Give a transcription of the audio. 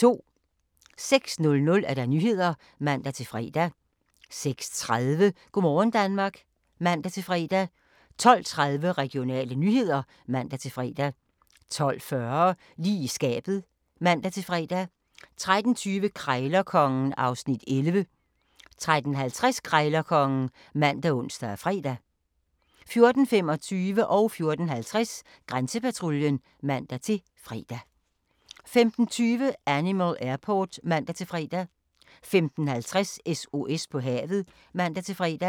06:00: Nyhederne (man-fre) 06:30: Go' morgen Danmark (man-fre) 12:30: Regionale nyheder (man-fre) 12:40: Lige i skabet (man-fre) 13:20: Krejlerkongen (Afs. 11) 13:50: Krejlerkongen ( man, ons, fre) 14:25: Grænsepatruljen (man-fre) 14:50: Grænsepatruljen (man-fre) 15:20: Animal Airport (man-fre) 15:50: SOS på havet (man-fre)